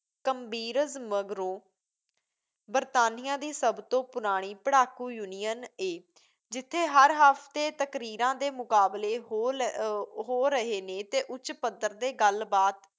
ਕਮੀਬਰਜ ਮਗਰੋਂ ਬਰਤਾਨੀਆ ਦੀ ਸਭ ਤੋਂ ਪੁਰਾਣੀ ਪੜ੍ਹਾਕੂ ਯੂਨੀਅਨ ਏ ਜਿਥੇ ਹਰ ਹਫ਼ਤੇ ਤਕਰੀਰਾਂ ਦੇ ਮੁਕਾਬਲੇ ਹੋ ਲ~ ਹੋ ਰਹੇ ਨੇ ਅਤੇ ਉੱਚੇ ਪੱਧਰ ਦੇ ਗੱਲ ਬਾਤ